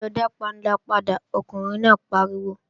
Lọ dá panla padà, ọkùnrin náà pariwo!